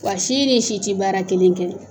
Wa si ni si tɛ baara kelen kɛ.